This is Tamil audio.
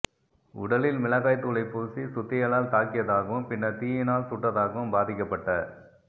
உடலில் மிளகாய் தூளை பூசி சுத்தியலால் தாக்கியதாகவும் பின்னர் தீயினால் சுட்டதாகவும் பாதிக்கப்பட்ட